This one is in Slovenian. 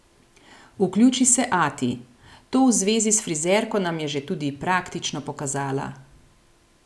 Vključi se ati: 'To v zvezi s frizerko nam je že tudi praktično pokazala.